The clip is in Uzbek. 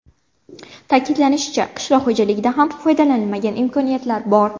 Ta’kidlanishicha, qishloq xo‘jaligida ham foydalanilmagan imkoniyatlar bor.